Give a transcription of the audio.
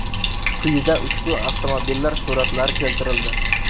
Quyida ushbu avtomobillar suratlari keltirildi.